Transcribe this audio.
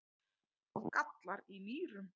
gallar í nýrum